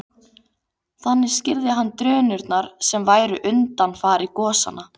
Þannig skýrði hann drunurnar sem væru undanfari gosanna.